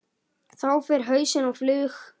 Þá fer hausinn á flug.